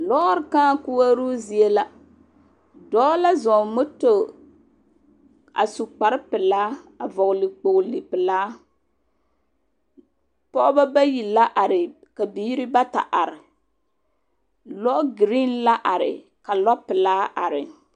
Lɔɔr kãã koɔroo zie la. Dɔɔ la zɔŋ o moto a su kpar pelaa a vɔgele kpogele pelaa. Pɔgebɔ bayi la are, ka biiri bata are. Lɔɔ gereen la are ka lɔpelaa are.